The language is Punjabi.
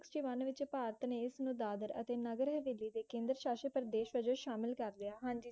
sixty one ਵਿੱਚ ਭਾਰਤ ਨੇ ਇਸ ਨੂੰ ਦਾਦਰ ਅਤੇ ਨਗਰ ਹਵੇਲੀ ਦੇ ਕੇਂਦਰ ਸ਼ਾਸ਼ਿਤ ਪ੍ਰਦੇਸ਼ ਵਜੋਂ ਸ਼ਾਮਿਲ ਕਰ ਲਿਆ ਹਾਂਜੀ ਜੀ